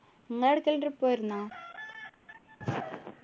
നിങ്ങ എടുക്കേലും trip പോയിരുന്നാ